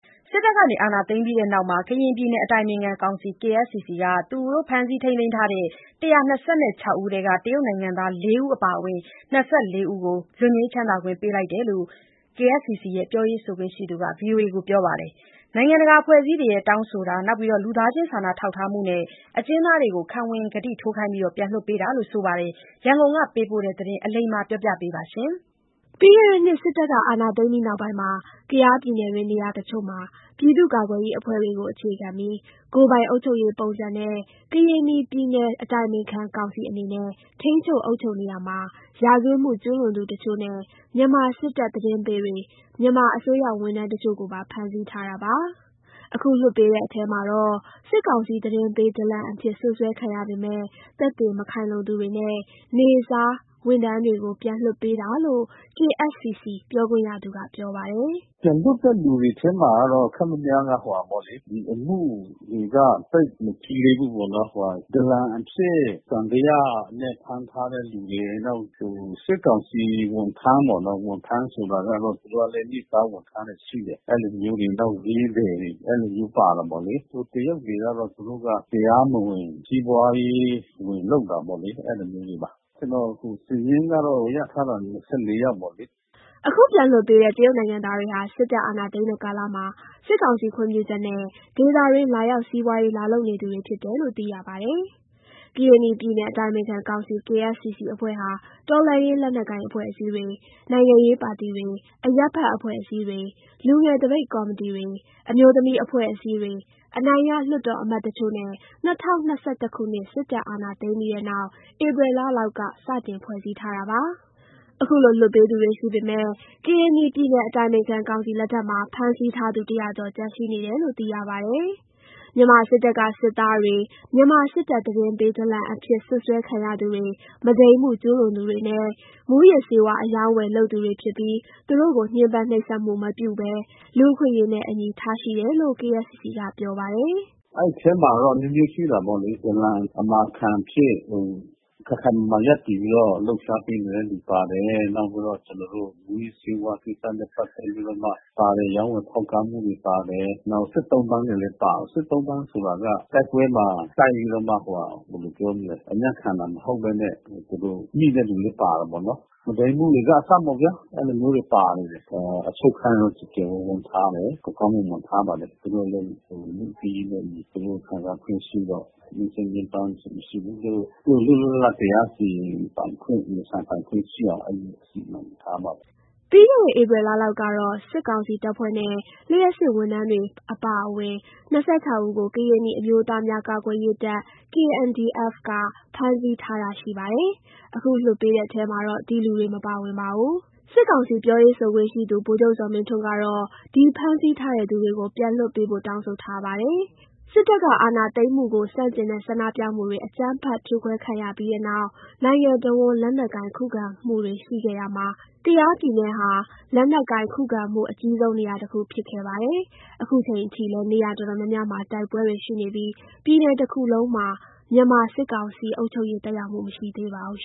စစ်တပ်အာဏာသိမ်းပြီးနောက် ကရင်နီပြည်နယ် အတိုင်ပင်ခံကောင်စီ KSCC က ဖမ်းဆီးထိန်းသိမ်းထားသူ ၁၂၆ ဦးထဲက တရုတ်နိုင်ငံသား ၄ ဦး အပါအဝင်၂၄ ဦးကို လွတ်ငြိမ်းချမ်းသာခွင့်ပေးလိုက်တယ်လို့ KSCC ပြောရေးဆိုခွင့်ရှိသူပြောပါတယ်။ နိုင်ငံတကာအဖွဲ့အစည်းတွေရဲ့ တောင်းဆိုမှု၊ လူသားချင်းစာနာထောက်ထားမှုနဲ့ အကျဉ်းသားတွေကို ခံဝန်ကတိထိုးပြီး ပြန်လွှတ်ပေးတာလို့ ဆိုပါတယ်။ ရန်ကုန် ကပေးပို့တဲ့သတင်း အလိမ္မာက တင်ပြပေးထားပါတယ်။ ပြီးခဲ့တဲ့နှစ် စစ်တပ်ကအာဏာသိမ်းပြီးနောက်ပိုင်းမှာ ကယားပြည်နယ်တွင်းနေရာတချို့မှာ ပြည်သူ့ကာကွယ်ရေးအဖွဲ့တွေကိုအခြေခံပြီး ကိုယ်ပိုင်အုပ်ချုပ်ရေးပုံစံနဲ့ ကရင်နီပြည်နယ် အတိုင်ပင်ခံကောင်စီအနေနဲ့ ထိန်းချုပ် အုပ်ချုပ်နေရာမှာ ရာဇဝတ်မှုကျူးလွန်သူတချို့နဲ့ မြန်မာစစ်တပ်သတင်းပေးတွေ၊ မြန်မာအစိုးရဝန်ထမ်းတချို့ကိုပါ ဖမ်းဆီးထားတာပါ။ အခု လွှတ်ပေးတဲ့ထဲမှာတော့ စစ်ကောင်စီသတင်းပေး ဒလန်အဖြစ် စွပ်စွဲခံရပေမယ့် သက်သေမခိုင်လုံသူတွေနဲ့ နေ့စားဝန်ထမ်းတွေကို ပြန်လွှတ်ပေးတာလို့ KSCC ပြောခွင့်ရသူက ပြောပါတယ်။ “ပြန်လွှတ်တဲ့ လူတွေထဲမှာ ခပ်ခပ်များများက ဒီအမှုတွေက သိပ်မကြီးသေးဘူးပေ့ါနော်။ ဒလန်အဖြစ်သံသယနဲ့ ဖမ်းထားတဲ့လူတွေ၊ နောက် စစ်ကောင်စီဝန်ထမ်းပေါ့နော်။ ဝန်ထမ်းဆိုတာကတော့ သူတို့ကလည်း နေ့စားဝန်ထမ်းတွေရှိတယ်။ အဲ့လိုမျိုးတွေ နောက်ဈေးသည်တွေ အဲ့လိုမျိုးပါတယ်ပေါ့လေ။ ဟိုတရုတ်တွေကတော့ သူတို့က တရားမဝင် စီးပွားရေးဝင်လုပ်တာပေါ့လေ။ အဲ့လိုမျိုးတွေပါ။ ကျနော်တို့ အခုစာရင်းကတော့ ရထားတာ ၂၄ ယောက်ပေါ့နော်။” အခုပြန်လွှတ်ပေးတဲ့ တရုတ်နိုင်ငံသားတွေဟာ စစ်တပ်အာဏာသိမ်းတဲ့ကာလမှာ စစ်ကောင်စီခွင့်ပြုချက်နဲ့ ဒေသတွင်းလာရောက် စီးပွားရေးလာလုပ်နေသူတွေဖြစ်နေသူတွေဖြစ်တယ်လို့ သိရပါတယ်။ ကရင်နီပြည်နယ် အတိုင်ပင်ခံကောင်စီ အဖွဲ့ဟာ တော်လှန်ရေးလက်နက်ကိုင်အဖွဲ့အစည်းတွေ၊ နိုင်ငံရေးပါတီတွေ၊ အရပ်ဖက်အဖွဲ့အစည်းတွေ၊ လူငယ် သပိတ်ကော်မတီတွေ၊ အမျိုးသမီးအဖွဲ့အစည်းတွေ၊ အနိုင်ရလွှတ်တော်အမတ်တချို့နဲ့ ၂၀၂၁ ခုနှစ် စစ်တပ်အာဏာသိမ်းပြီးတဲ့နောက် ဧပြီလလောက်က စတင်ဖွဲ့စည်းထားတာပါ။ အခုလို လွှတ်ပေးသူတွေရှိပေမယ့် ကရင်နီပြည်နယ် အတိုင်ပင်ခံကောင်စီလက်ထဲမှာ ဖမ်းဆီးထားသူ ၁၀၀ ကျော် ကျန်ရှိနေတယ်လို့သိရပါတယ်။ မြန်မာစစ်တပ်က စစ်သားတွေ၊ မြန်မာစစ်တပ်သတင်းပေး ဒလန်အဖြစ် စွပ်စွဲခံရသူတွေ၊ မုဒိမ်းမှုကျူးလွန်သူတွေနဲ့ မူးယစ်ဆေးဝါးအရောင်းအဝယ်လုပ်သူတွေဖြစ်ပြီး သူတို့ကို ညှင်းပန်းနှိပ်စက်မှုမပြုဘဲ လူ့အခွင့်အရေးနဲ့အညီ ထားရှိတယ်လို့ KSCC ကပြောပါတယ်။ “အဲ့ထဲမှာတော့ အမျိုးမျိုးရှိတာပေါ့လေ။ ဒလန်အမာခံအဖြစ် ခိုင်ခိုင်မာမာရပ်တည်ပြီးတော့ လှုပ်ရှားပေးနေတဲ့လူပါတယ်။ နောက်ပြီးတော့ မူးယစ်ဆေးဝါးကိစ္စနဲ့ ပတ်သက်ပြီးတော့မှပါတယ်။ ရောင်းဝယ်ဖောက်ကားမှုတွေပါတယ်။ နောက်စစ် သုံ့ပန်းတွေလည်း ပါတယ်။ စစ်သုံ့ပန်းဆိုတာက တိုက်ပွဲမှာတိုက်ပြီးတော့မှ အညံ့ခံတာမဟုတ်ဘဲနဲ့ မိတဲ့လူလည်း ပါတာပေါ့နော်။ မုဒိမ်းမှုတွေကအစပေါ့ဗျ။ အဲ့လိုမျိုးတွေပါတယ်။ အချုပ်ခန်းတော့ ကျယ်ကျယ်ဝန်းဝန်းထားတယ်။ ကောင်းကောင်းမွန်မွန်ထားပါတယ်။ သူတို့လည်း လူ့အခွင့်အရေးနဲ့အညီ ခံစားခွင့်ရှိတော့ နှိပ်စက် ညှင်းပန်းတာမရှိဘူး။ သူတို့ လွတ်လွတ်လပ်လပ်တရားစီရင်ပိုင်ခွင့်၊ ရင်ဆိုင်ပိုင်ခွင့်ရှိတယ်။ အဲ့လိုမျိုးစီမံထားပါတယ်။” ပြီးခဲ့တဲ့ ဧပြီလလောက်ကတော့ စစ်ကောင်စီတပ်ဖွဲ့နဲ့ လျှပ်စစ်ဝန်ထမ်းတွေ အပါအဝင် ၂၆ ဦးကို ကရင်နီအမျိုးသားများကာကွယ်ရေးတပ် KNDF က ဖမ်းဆီးထားတာရှိပါတယ်။ အခု လွှတ်ပေးတဲ့ထဲမှာတော့ ဒီလူတွေ မပါဝင်ပါဘူး။ စစ်ကောင်စီ ပြောရေးဆိုခွင့်ရှိသူ ဗိုလ်ချုပ်ဇော်မင်းထွန်းကတော့ ဒီဖမ်းဆီးထားတဲ့သူတွေကို ပြန်လွှတ်ပေးဖို့ တောင်းဆိုထားပါတယ်။ စစ်တပ်က အာဏာသိမ်းမှုကိုဆန့်ကျင်တဲ့ ဆန္ဒပြမှုတွေ အကြမ်းဖက်ဖြိုခံရပြီးနောက် နိုင်ငံအဝှမ်း လက်နက်ကိုင်ခုခံမှုတွေရှိခဲ့ရာမှာ၊ ကယားပြည်နယ် ဟာ လက်နက်ကိုင် ခုခံမှုအကြီးဆုံးနေရာတခုဖြစ်ခဲ့ပါတယ်။ ခုချိန်အထိလည်း နေရာအတော်များများမှာ တိုက်ပွဲတွေရှိနေပြီး ပြည်နယ်တခုလုံးမှာ မြန်မာစစ်ကောင်စီအုပ်ချုပ်ရေးသက်ရောက်မှု မရှိသေးပါဘူး